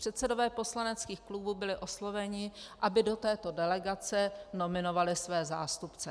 Předsedové poslaneckých klubů byli osloveni, aby do této delegace nominovali své zástupce.